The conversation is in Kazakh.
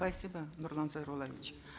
спасибо нурлан зайроллаевич